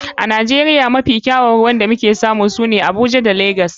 A nigeria mafi kyawun ruwa da muke samu shine a abuja da lagos.